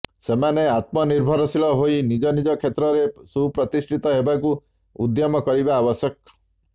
ସେମାନେ ଆତ୍ମନିର୍ଭରଶୀଳ ହୋଇ ନିଜ ନିଜ କ୍ଷେତ୍ରରେ ସୁପ୍ରିତିଷ୍ଠିତ ହେବାକୁ ଉଦ୍ୟମ କରିବା ଆବଶ୍ୟକ